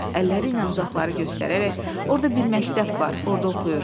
Əlləri ilə uzaqları göstərərək, orda bir məktəb var, orda oxuyur.